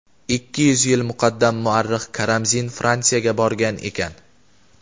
Ikki yuz yil muqaddam muarrix Karamzin Fransiyaga borgan ekan.